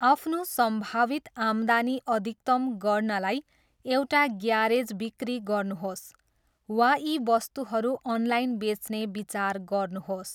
आफ्नो सम्भावित आम्दानी अधिकतम गर्नलाई एउटा ग्यारेज बिक्री गर्नुहोस्, वा यी वस्तुहरू अनलाइन बेच्ने विचार गर्नुहोस्।